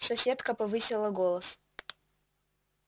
соседка повысила голос